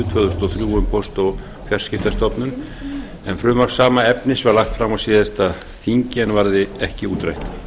þúsund og þrjú um póst og fjarskiptastofnun en frumvarp sama efnis var lagt fram á síðasta þingi en varð ekki útrætt